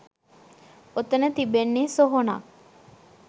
ඔතන තිබෙන්නේ සොහොනක්.